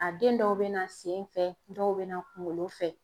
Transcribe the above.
A den dɔw bɛ na sen fɛ dɔw bɛ na kunkolo fɛ.